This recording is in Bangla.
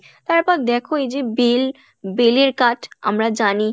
তারপর দেখো এইযে বেল, বেলের কাঠ আমরা জানি